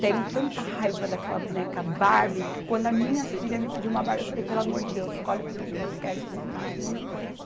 Tenho tanta raiva daquela boneca Barbie, que quando as minhas filha me pediram uma Barbie, eu falei, pelo amor de Deus, escolhe outro brinquedo, porque essa eu não, não.